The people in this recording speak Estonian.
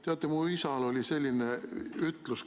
Teate, mu isal oli tore ütlus.